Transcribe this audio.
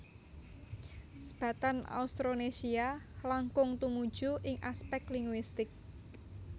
Sebatan Austronesia langkung tumuju ing aspèk linguistik